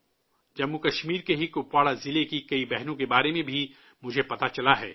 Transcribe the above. جموں و کشمیر کے ہی کپواڑہ ضلع کی کئی بہنوں کے بارے میں بھی مجھے پتہ چلا ہے